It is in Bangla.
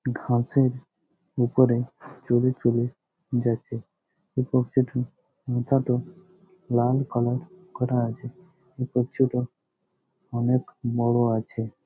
ঘাসের উপরে চলে চলে যাচ্ছে। লাল কালার করা আছে অনেক বড় আছে।